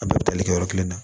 A bɛɛ bɛ tali kɛ yɔrɔ kelen na